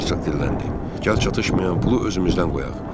Herzoq dilləndi: Gəl çatışmayan pulu özümüzdən qoyaq.